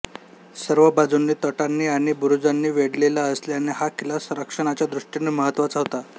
सर्व बाजूंनी तटांनी आणि बुरुजांनी वेढलेला असल्याने हा किल्ला संरक्षणाच्या दृष्टीने महत्त्वाचा होता